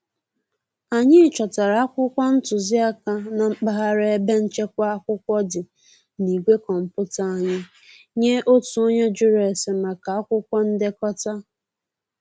Anyị chọtara akwụkwọ ntụziaka na mpaghara ebe nchekwa akwụkwọ dị na igwe kọmputa anyị nye otu onye jụrụ ese maka akwụkwọ ndekọta